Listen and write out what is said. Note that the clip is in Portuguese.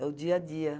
É o dia a dia.